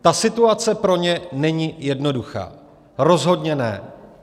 Ta situace pro ně není jednoduchá, rozhodně ne.